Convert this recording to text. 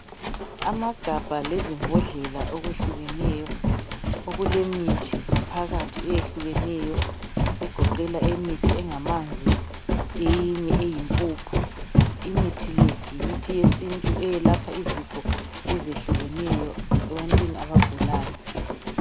amagabha lezimbodlela okwehlukeneyo okulemithi ngaphathi okwehlukeneyo egoqela imithi engamanzi eyinye eyimpuphu imithi le yimithi yesintu eyelapha izifo ezehlukeneyo ebantini abagulayo